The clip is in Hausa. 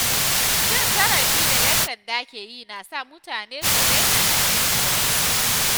Cin zarafi da ‘yan sanda ke yi na sa mutane su daina aminta da su.